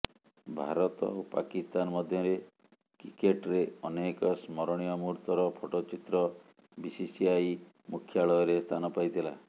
ଭାରତ ଓ ପାକିସ୍ତାନ ମଧ୍ୟରେ କ୍ରିକେଟ୍ରେ ଅନେକ ସ୍ମରଣୀୟ ମୁହୂର୍ତ୍ତର ଫଟୋଚିତ୍ର ବିସିସିଆଇ ମୁଖ୍ୟାଳୟରେ ସ୍ଥାନ ପାଇଥିଲା